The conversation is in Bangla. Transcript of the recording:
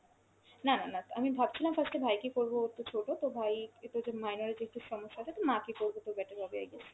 না না না, আমি ভাবছিলাম first এ ভাই কে করব, ও তো ছোটো তো ভাই minor তো একটু সমস্যা আছে তো মা কে করব তো better হবে i guess।